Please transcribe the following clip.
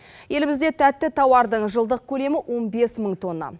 елімізде тәтті тауардың жылдық көлемі он бес мың тонна